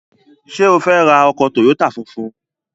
Ṣé o fẹ́ ra ọkọ̀ tòyótà funfun?